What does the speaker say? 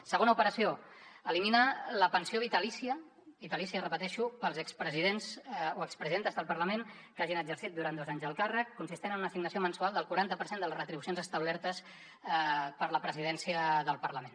segona operació eliminar la pensió vitalícia vitalícia ho repeteixo per als expresidents o expresidentes del parlament que hagin exercit durant dos anys el càrrec consistent en una assignació mensual del quaranta per cent de les retribucions establertes per a la presidència del parlament